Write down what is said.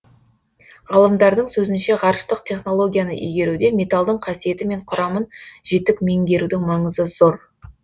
ғалымдардың сөзінше ғарыштық технологияны игеруде металдың қасиеті мен құрамын жетік меңгерудің маңызы зор